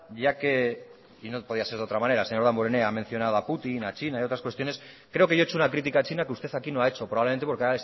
ya que y no podía ser de otra manera el señor damborenea ha mencionado a putin a china y a otras cuestiones creo que yo he hecho una crítica a china que usted aquí no ha hecho probablemente porque